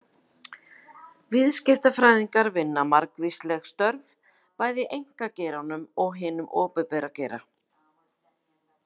Viðskiptafræðingar vinna margvísleg störf, bæði í einkageiranum og hinum opinbera geira.